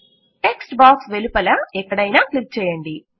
text box వెలుపల ఎక్కడైనా click చేయండి